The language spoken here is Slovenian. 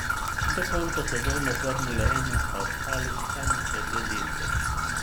Do konca sezone v formuli ena sta ostali samo še dve dirki.